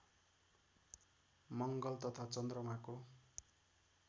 मङ्गल तथा चन्द्रमाको